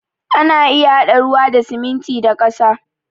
Ana iya haɗa ruwa da siminti da ƙasa